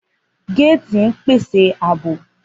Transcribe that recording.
Gates pese aabo.